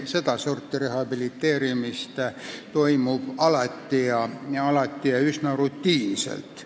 Sedasorti rehabiliteerimist tuleb ikka ette ja see käib üsna rutiinselt.